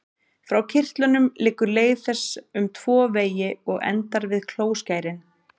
Frá kirtlunum liggur leið þess um tvo vegi og endar við klóskærin.